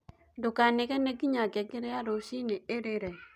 ndukanegene nginya ngengere ya rucĩĩni irĩre